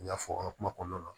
N y'a fɔ n ka kuma kɔnɔna la